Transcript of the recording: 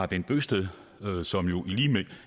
bent bøgsted som jo i